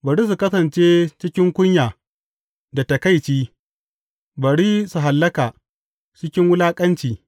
Bari su kasance cikin kunya da taƙaici; bari su hallaka cikin wulaƙanci.